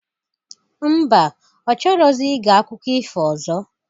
Mba, ọ chọrọzi ige akụko ifo ọzọ?